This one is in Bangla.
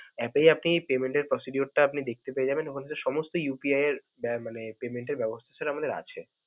app এই আপনি payment এর procedure টা আপনি দেখতে পেয়ে যাবেন. ওখান থেকে সমস্ত UPI এর এ মানে payment এর ব্যবস্থা sir আমাদের আছে.